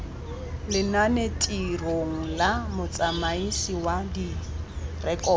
lenanetirong la motsamaisi wa direkoto